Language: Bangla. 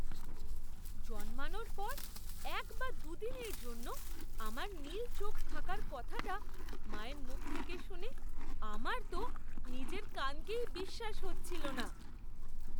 জন্মানোর পর এক বা দু'দিনের জন্য আমার নীল চোখ থাকার কথাটা মায়ের মুখ থেকে শুনে আমার তো নিজের কানকেই বিশ্বাস হচ্ছিল না!